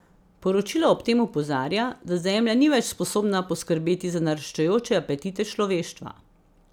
Poročilo ob tem opozarja, da Zemlja ni več sposobna poskrbeti za naraščajoče apetite človeštva.